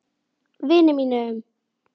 Vini mínum!